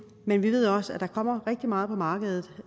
men vi ved også at der kommer rigtig meget på markedet